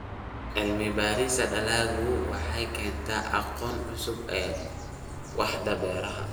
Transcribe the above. Cilmi-baarista dalaggu waxay u keentaa aqoon cusub waaxda beeraha.